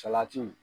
Salati